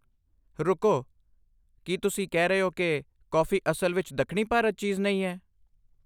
ਰੁਕੋ! ਕੀ ਤੁਸੀਂ ਕਹਿ ਰਹੇ ਹੋ ਕਿ ਕੌਫੀ ਅਸਲ ਵਿੱਚ ਦੱਖਣੀ ਭਾਰਤੀ ਚੀਜ਼ ਨਹੀਂ ਹੈ?